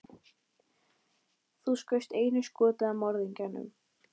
Nú tekur við stutt hlé á hótelherbergi.